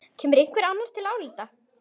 Kemur einhver annar til álita?